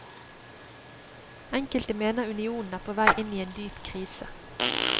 Enkelte mener unionen er på vei inn i en dyp krise.